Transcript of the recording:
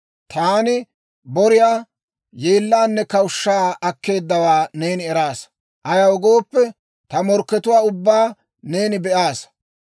Taani boriyaa, yeellaanne, kawushshaa akkeeddawaa neeni eraasa. Ayaw gooppe, ta morkkatuwaa ubbaa neeni be'aasa.